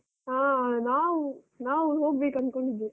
ಹಾ ನಾವು ನಾವು ಹೋಗ್ಬೇಕು ಅನ್ಕೊಂಡಿದ್ವಿ.